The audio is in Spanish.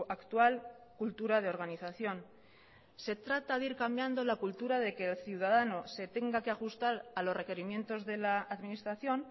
actual cultura de organización se trata de ir cambiando la cultura de que el ciudadano se tenga que ajustar a los requerimientos de la administración